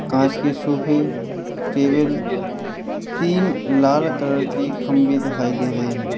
कांच की सोफे टेबल तीन लाल कलर की खंभे दिखाई दे रहे हैं।